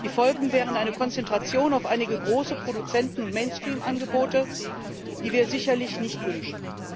Die Folge wäre eine Konzentration auf einige große Produzenten und Mainstream Angebote, die wir sicherlich nicht wünschen.